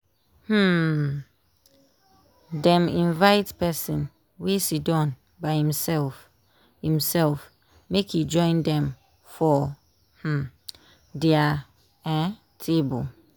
dem invite person wey siddon by imself imself make e join dem for um dia um table